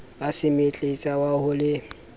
wa semetletsa wa ho le